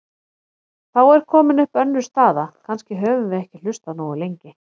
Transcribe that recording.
Þá er komin upp önnur staða: Kannski höfum við ekki hlustað nógu lengi.